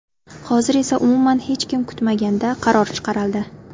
Hozir esa umuman hech kim kutmaganda qaror chiqarildi.